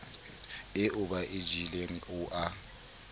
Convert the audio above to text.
eo ba e jeleng ao